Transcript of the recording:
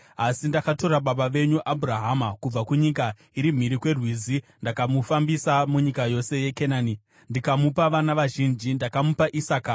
Asi ndakatora baba wenyu Abhurahama kubva kunyika iri mhiri kweRwizi ndikamufambisa munyika yose yeKenani ndikamupa vana vazhinji. Ndakamupa Isaka,